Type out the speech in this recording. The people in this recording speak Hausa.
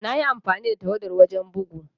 Na yi amfani da tawadar wajen bugu.